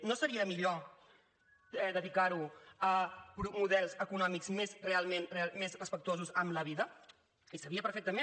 no seria millor dedicar ho a models econòmics més realment respectuosos amb la vida i sabia perfectament